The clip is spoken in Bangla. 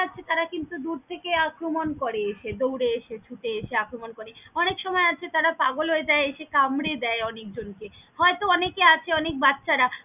তারা কিন্তু দূর থেকে আক্রমন করে এসে দউরে এসে ছুটে এসে আক্রমন করে অনেক সময় আছে তারা পাগল হয়ে যায় এসে কামরে দেয় অনেক জন কে হয়তো অনেকে আছে অনেক বাচ্চারা।